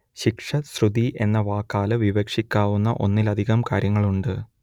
ശിക്ഷ ശ്രുതി എന്ന വാക്കാൽ വിവക്ഷിക്കാവുന്ന ഒന്നിലധികം കാര്യങ്ങളുണ്ട്